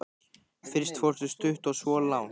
Fyrst fórstu stutt og svo langt.